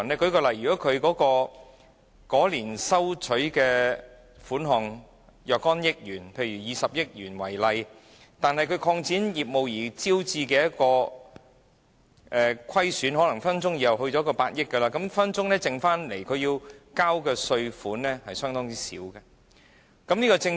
舉例來說，如經營者在某年的收入是若干億元，例如20億元，但在該年因擴展業務而招致的虧損可能隨時達到上百億元，那麼所需繳交的稅款隨時會大幅減少。